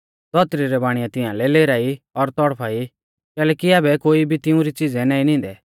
धौतरी रै बाणीऐ तिंआलै लेराई और तौड़फा ई कैलैकि आबै कोई भी तिंउरी च़िज़ै नाईं निंदै